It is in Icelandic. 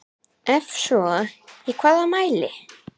Ef svo í hvaða mæli?